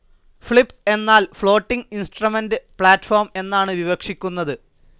Flip എന്നാൽ floating instrument platform എന്നാണ് വിവക്ഷിക്കുന്നത്.